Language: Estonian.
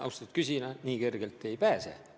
Austatud küsija, nii kergelt te ei pääse.